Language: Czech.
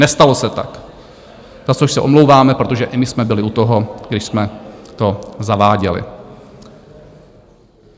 Nestalo se tak, za což se omlouváme, protože i my jsme byli u toho, když jsme to zaváděli.